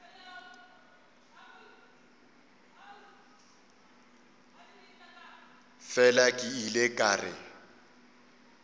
fela ke ile ka re